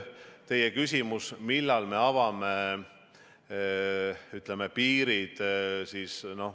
Teie küsimus, millal me avame piirid.